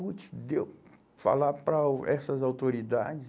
putz, deu falar para o, essas autoridades?